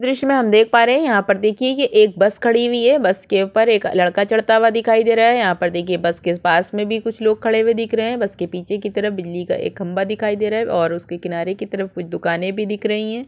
दृश्य में हम देख पा रहे है यहाँ पर देखिये ये एक बस खड़ी हुई है। बस के ऊपर एक लड़का चढ़ता हुआ दिखाई दे रहा है। यहाँ पर देखिये बस के पास में भी कुछ लोग खड़े हुए दिख रहे है। बस के पीछे की तरफ बिजली का एक खम्भा दिखाई दे रहा है और उसके किनारे के तरफ कुछ दुकाने भी दिख रही है।